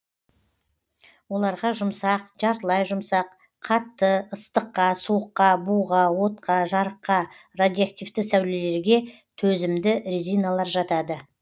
оларға жұмсақ жартылай жұмсақ қатты ыстыққа суыққа буға отқа жарыққа радиоактивті сәулелерге төзімді резиналар жатады